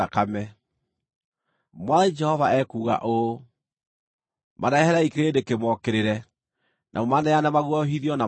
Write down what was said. “Mwathani Jehova ekuuga ũũ: Mareherei kĩrĩndĩ kĩmookĩrĩre, na mũmaneane maguoyohithio na matahwo.